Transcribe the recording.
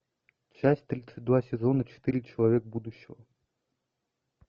часть тридцать два сезона четыре человек будущего